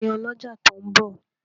Tani ọlọ́jà tó ń bọ̀?